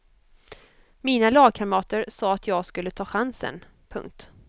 Mina lagkamrater sa att jag skulle ta chansen. punkt